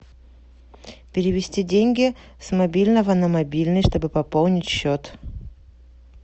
перевести деньги с мобильного на мобильный чтобы пополнить счет